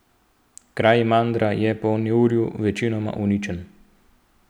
Kraj Mandra je po neurju večinoma uničen.